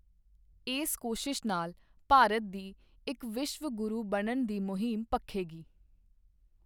ਇਸ ਕੋਸ਼ਿਸ਼ ਨਾਲ ਭਾਰਤ ਦੀ ਇੱਕ ਵਿਸ਼ਵ ਗੁਰੂ ਬਣਨ ਦੀ ਮੁਹਿੰਮ ਭਖੇਗੀ।